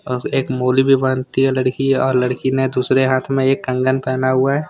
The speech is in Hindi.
अब एक मूली भी बांधती है लड़की और लड़की ने दूसरे हाथ मे एक कंगन पहना हुआ है।